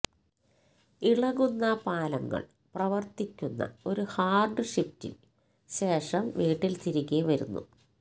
ഇളകുന്ന പാലങ്ങൾ പ്രവർത്തിക്കുന്ന ഒരു ഹാർഡ് ഷിഫ്റ്റിൽ ശേഷം വീട്ടിൽ തിരികെ വരുന്നു